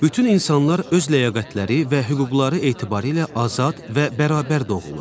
Bütün insanlar öz ləyaqətləri və hüquqları etibarilə azad və bərabər doğulur.